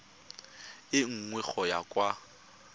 e nngwe go ya kwa